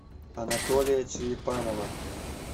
анатолия черепанова